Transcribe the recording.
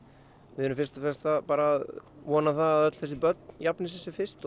við erum fyrst og fremst að vona það að öll þessi börn jafni sig sem fyrst